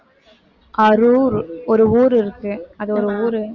அரூர் ஒரு ஊரு இருக்கு அது ஒரு ஊரு